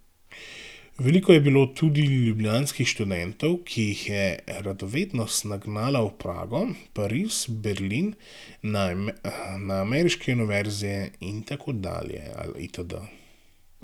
Veliko je bilo tudi ljubljanskih študentov, ki jih je radovednost nagnala v Prago, Pariz, Berlin, na ameriške univerze itd...